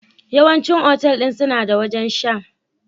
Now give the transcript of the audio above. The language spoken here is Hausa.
Yawancin otal ɗin suna da wajen sha